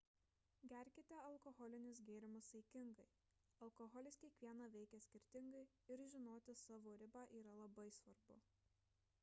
gerkite alkoholinius gėrimus saikingai alkoholis kiekvieną veikia skirtingai ir žinoti savo ribą yra labai svarbu